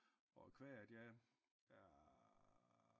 Og kva af at jeg er